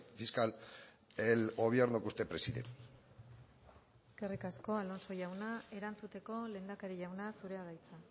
fiscal el gobierno que usted preside eskerrik asko alonso jauna erantzuteko lehendakari jauna zurea da hitza